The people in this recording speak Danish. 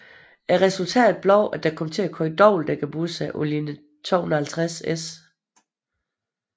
Resultatet blev at der kom til at køre dobbeltdækkerbusser på linje 250S